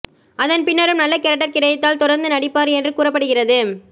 அதன்பின்னரும் நல்ல கேரக்டர் கிடைத்தால் தொடர்ந்து நடிப்பார் என்று கூறப்படுகிறது